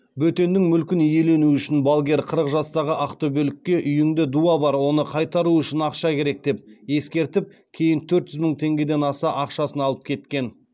бөтеннің мүлкін иелену үшін балгер қырық жастағы ақтөбелікке үйіңде дуа бар оны қайтару үшін ақша керек деп ескертіп кейін төрт жүз мың теңгеден аса ақшасын алып кеткен